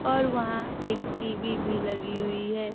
और वहां एक टी_वी भी लगी हुई है।